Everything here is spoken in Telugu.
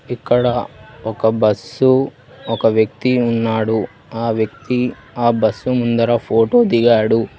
ఇక్కడ ఒక బస్సు ఒక వ్యక్తి ఉన్నాడు ఆ వ్యక్తి ఆ బస్సు ముందర ఫోటో దిగాడు.